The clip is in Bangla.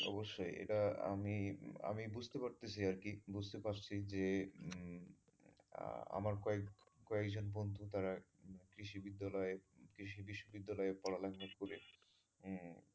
অবশ্যই এটা আমি আমি বুঝতে পারতাছি আরকি বুঝতে পারছি যে উম আমার কয়েকজন কয়েকজন বন্ধু তারা কৃষি বিদ্যালয়ে, কৃষি বিদ্যালয়ে পড়া লেখা করে তারা উম